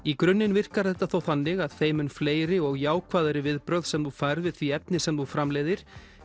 í grunninn virkar þetta þó þannig að þeim mun fleiri og jákvæðari viðbrögð sem þú færð við því efni sem þú framleiðir